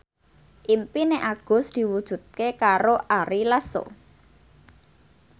impine Agus diwujudke karo Ari Lasso